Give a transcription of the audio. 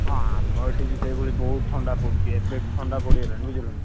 ହଁ, ଆମ ଏଠି ବି ସେଇଭଳି ବହୁତ ଥଣ୍ଡା ପଡୁଛି ଏବେଠୁ ଥଣ୍ଡା ପଡ଼ିଗଲାଣି ବୁଝିଲ ନା?